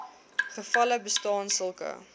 gevalle bestaan sulke